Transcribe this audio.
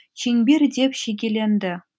шеңбер деп шегеленді